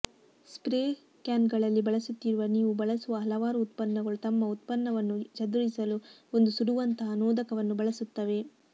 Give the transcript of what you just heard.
spray ಕ್ಯಾನ್ಗಳಲ್ಲಿ ಬಳಸುತ್ತಿರುವ ನೀವು ಬಳಸುವ ಹಲವಾರು ಉತ್ಪನ್ನಗಳು ತಮ್ಮ ಉತ್ಪನ್ನವನ್ನು ಚದುರಿಸಲು ಒಂದು ಸುಡುವಂತಹ ನೋದಕವನ್ನು ಬಳಸುತ್ತವೆ